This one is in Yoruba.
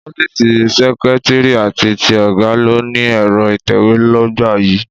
Ọ́fíìsì seketiri àti ti ọ̀gá ló ni Ẹ̀rọ ìtẹ̀we l'ogba yìí.